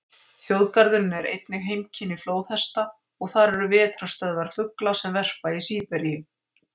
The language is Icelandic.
Þjóðgarðurinn er einnig heimkynni flóðhesta og þar eru vetrarstöðvar fugla sem verpa í Síberíu.